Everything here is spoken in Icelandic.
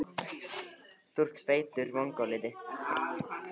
Lilla, hringdu í Fjalar eftir tuttugu og þrjár mínútur.